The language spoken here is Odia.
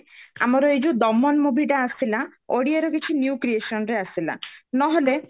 ଆମର ଏଇ ଯୋଉ ଦମନ movie ଟା ଆସିଲା ଓଡିଆର କିଛି new creationରେ ଆସିଲା ନହେଲେ